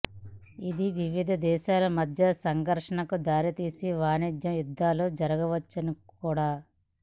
ఇది వివిధ దేశాల మద్య సంఘర్షణలకు దారితీసి వాణిజ్య యుద్ధాలు జరగవచ్చు కూడా